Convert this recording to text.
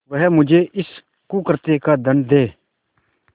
वह मुझे इस कुकृत्य का दंड दे